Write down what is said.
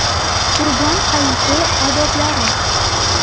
Qurbon hayiti odoblari.